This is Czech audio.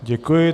Děkuji.